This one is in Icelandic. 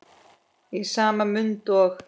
Í sama mund og